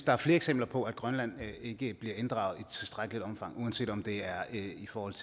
er flere eksempler på at grønland ikke bliver inddraget i tilstrækkeligt omfang uanset om det er i forhold